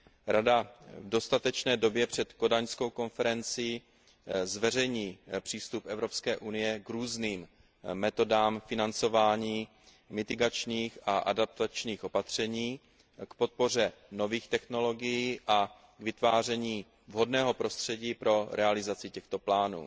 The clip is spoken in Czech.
Rada v dostatečné době před kodaňskou konferencí zveřejní přístup Evropské unie k různým metodám financování mitigačních a adaptačních opatření, k podpoře nových technologií a k vytváření vhodného prostředí pro realizaci těchto plánů.